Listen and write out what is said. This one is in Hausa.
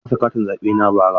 Na rasa katin zaɓe na bara.